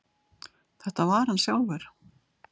Þetta var hann sjálfur.